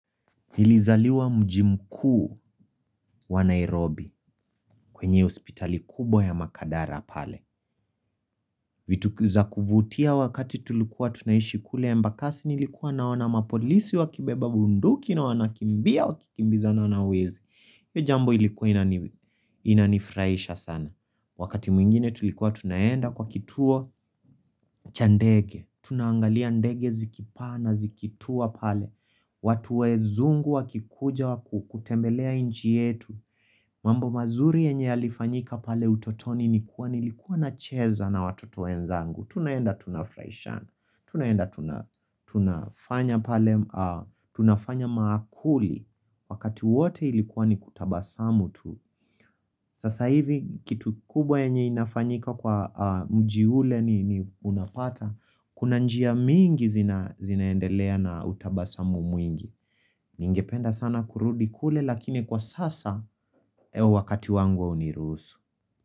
Nilizaliwa mji mkuu wa Nairobi kwenye hospitali kubwa ya makadara pale. Vitu za kuvutia wakati tulikuwa tunaishi kule Embakasi nilikuwa naona mapolisi wakibeba bunduki na wanakimbia wakikimbizana na wezi. Hiyo jambo ilikuwa inanifurahisha sana. Wakati mwingine tulikuwa tunaenda kwa kituo cha ndege. Tunaangalia ndege zikipaa na zikituwa pale. Watu wezungu wakikuja waku kutembelea nchi yetu. Mambo mazuri yenye yalifanyika pale utotoni nikuwa nilikuwa nacheza na watoto wenzangu. Tunaenda tunafurahishana. Tunaenda tunafanya maakuli wakati wote ilikuwa ni kutabasamu tu Sasa hivi kitu kubwa yenye inafanyika kwa mji ule ni unapata Kuna njia mingi zinaendelea na utabasamu mwingi Ningependa sana kurudi kule lakini kwa sasa he wakati wangu hauniruhusu.